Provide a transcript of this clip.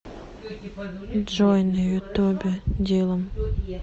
джой на ютубе дилам